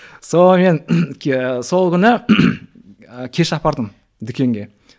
сонымен сол күні кеш апардым дүкенге